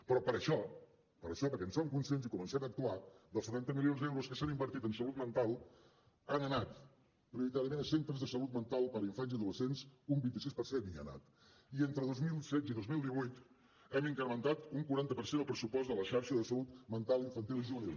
però per això per això perquè en som conscients i comencem a actuar dels setanta milions d’euros que s’han invertit en salut mental ha anat prioritàriament a centres de salut mental per a infants i adolescents un vint sis per cent i entre dos mil setze i dos mil divuit hem incrementat un quaranta per cent el pressupost de la xarxa de salut mental infantil i juvenil